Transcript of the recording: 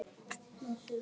Það er ekki eins.